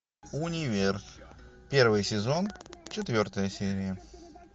универ первый сезон четвертая серия